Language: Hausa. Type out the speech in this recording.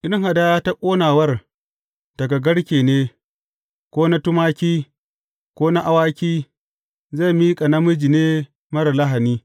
In hadaya ta ƙonawar daga garke ne, ko na tumaki, ko na awaki, zai miƙa namiji ne marar lahani.